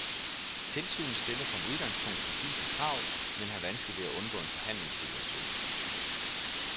Tilsynet stiller som udgangspunkt præcise krav, men har vanskeligt ved at undgå en forhandlingssituation.